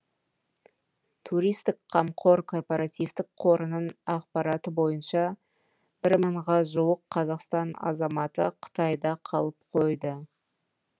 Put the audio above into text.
туристік қамқор корпоративтік қорының ақпараты бойынша бір мыңға жуық қазақстан азаматы қытайда қалып қойды